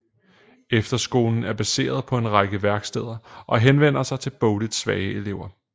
Efterskolen er baseret på en række værksteder og henvender sig til bogligt svage elever